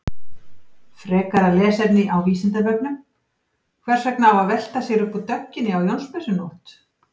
Frekara lesefni á Vísindavefnum: Hvers vegna á að velta sér upp úr dögginni á Jónsmessunótt?